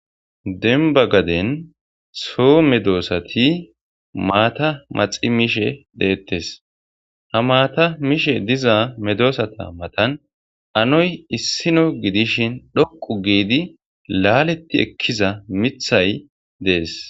Demba gaden so medosati mata maxi mishe detes, ha mata mishe diza medosata matan anoy issino gidishin dhoqu gid laalet ekiza mthay Des.